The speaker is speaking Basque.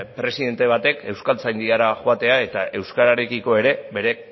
presidente batek euskaltzaindira joatea eta euskararekiko ere bere